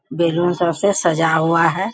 Balloon सब से सजा हुआ है।